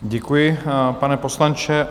Děkuji, pane poslanče.